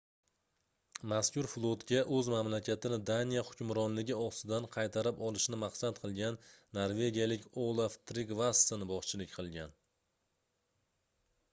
mazkur flotga oʻz mamlakatini daniya hukmronligi ostidan qaytarib olishni maqsad qilgan norvegiyalik olaf trigvasson boshchilik qilgan